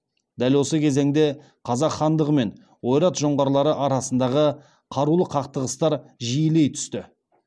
дәл осы кезеңде қазақ хандығы мен ойрат жоңғарлары арасындағы қарулы қақтығыстар жиілей түсті